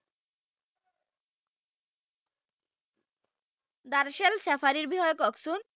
দাৰ্চেল চেফাৰিৰ বিষয়ে কওকচোন